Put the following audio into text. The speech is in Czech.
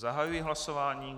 Zahajuji hlasování.